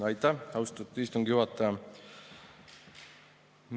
Aitäh, austatud istungi juhataja!